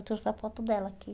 Eu trouxe a foto dela aqui.